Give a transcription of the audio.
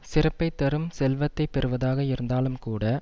சிறப்பை தரும் செல்வத்தை பெறுவதாக இருந்தாலும் கூட